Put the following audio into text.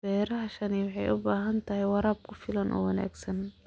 Beerashadani waxay u baahan tahay waraab ku filan oo wanaagsan.